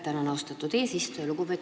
Tänan, austatud eesistuja!